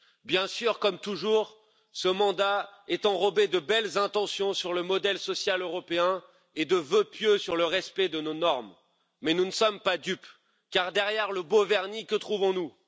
Bien sûr, comme toujours, ce mandat est enrobé de belles intentions sur le modèle social européen et de vœux pieux sur le respect de nos normes, mais nous ne sommes pas dupes, car derrière le beau vernis, que trouvons nous?